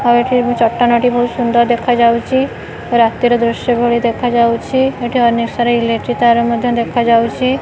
ଆଉ ଏଠି ବି ଚଟାଣ ଟି ବହୁତ ସୁନ୍ଦର ଦେଖାଯାଉଚି ରାତି ର ଦୃଶ୍ୟ ଭଳି ଦେଖାଯାଉଛି ଏଠି ଅନେକ ସାରା ଇଲେକ୍ଟ୍ରି ତାର ମଧ୍ୟ ଦେଖାଯାଉଚି।